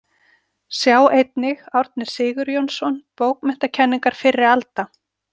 Sjá einnig Árni Sigurjónsson, Bókmenntakenningar fyrri alda.